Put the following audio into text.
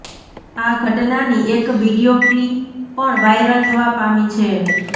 આ ઘટનાની એક વીડિયો ક્લિ પણ વાયરલ થવા પામી છે